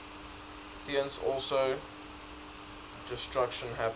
thence also their destruction happens